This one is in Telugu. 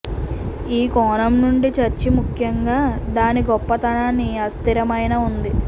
ఈ కోణం నుండి చర్చి ముఖ్యంగా దాని గొప్పతనాన్ని అస్థిరమైన ఉంది